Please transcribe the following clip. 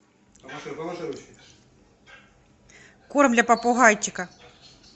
корм для попугайчика